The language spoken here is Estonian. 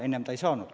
Enne ta ei saanud.